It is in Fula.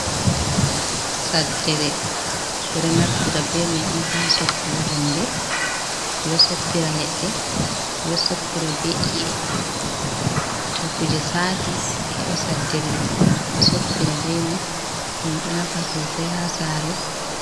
Saddere bedo naftira be mai on ha soppugo hunde bedo soppira ledde bedo soppira be eye, to kuje saati a heɓa saddere ma ha soppira be mai dum do nafa sosai ha sare.